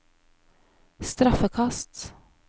straffekast